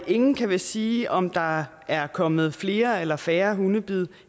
ingen kan vist sige om der er er kommet flere eller færre hundebid